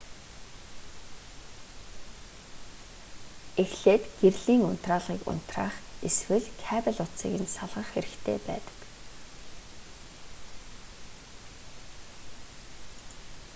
эхлээд гэрлийн унтраалгыг унтраах эсвэл кабель утсыг нь салгах хэрэгтэй байдаг